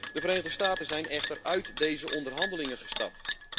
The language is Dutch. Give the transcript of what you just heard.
De Verenigde Staten zijn echter uit deze onderhandelingen gestapt.